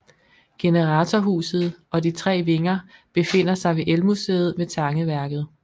Generatorhuset og de 3 vinger befinder sig ved Elmuseet ved Tangeværket